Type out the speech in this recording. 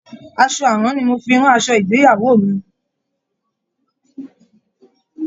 Aṣọ àrán ni mo fi rán aṣọ ìgbéyàwó mi.